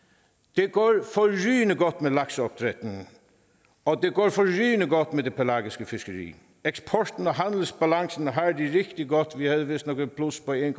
det går forrygende godt med lakseopdrættet og det går forrygende godt med det pelagiske fiskeri eksporten og handelsbalancen har det rigtig godt vi havde vistnok et plus på en